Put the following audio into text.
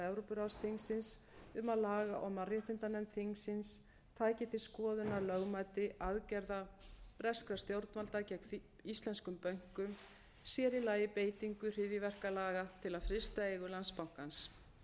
evrópuráðsþingsins um að laga og mannréttindanefnd þingsins tæki til skoðunar lögmæti aðgerða breskra stjórnvalda gegn íslenskum bönkum sér í lagi beitingu hryðjuverkalaga til að frysta eigur landsbankans